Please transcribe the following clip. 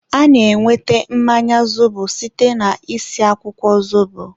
a na-enweta mmanya zobo site na-isi akwụkwọ zobo.